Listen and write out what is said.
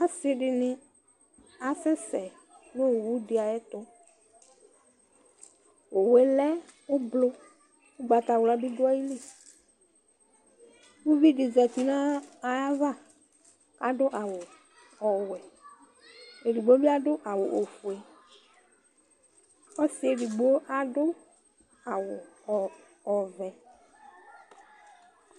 ɔse di ni asɛ sɛ n'owu di ayɛto owue lɛ ublɔ ugbata wla bi do ayili uvi di zati n'ayava ado awu ɔwɛ edigbo bi ado awu ofue ɔsiɛ edigbo ado awu ɔvɛ